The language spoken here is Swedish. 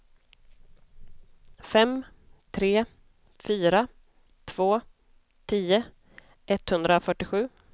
fem tre fyra två tio etthundrafyrtiosju